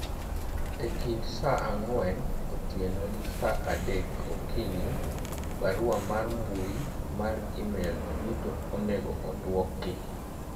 e kind saa ang'wen otieno gi saa adek okinyi barua mar mbui mar email duto onego odwoki